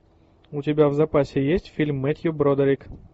у тебя в запасе есть фильм мэттью бродерик